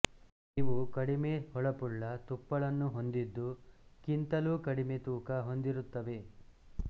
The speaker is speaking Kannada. ಇವು ಕಡಿಮೆ ಹೊಳಪುಳ್ಳ ತುಪ್ಪುಳನ್ನು ಹೊಂದಿದ್ದು ಕ್ಕಿಂತಲೂ ಕಡಿಮೆ ತೂಕ ಹೊಂದಿರುತ್ತವೆ